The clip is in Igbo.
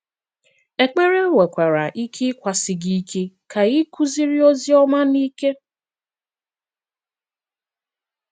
Èkpèrè nwekwara ike ị́kwàsi gị ike ka ị kụziri ozi ọma n’ike.